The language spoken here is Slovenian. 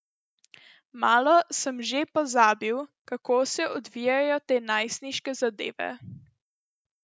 Malo sem že pozabil, kako se odvijajo te najstniške zadeve.